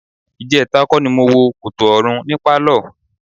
Ìjẹta kọ́ ni mo wo Kòtò Ọ̀run ní pálọ̀.